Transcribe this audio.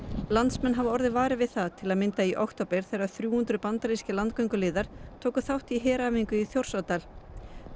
landsmenn hafa orðið varir við það til að mynda í október þegar þrjú hundruð bandarískir landgönguliðar tóku þátt í heræfingu í Þjórsárdal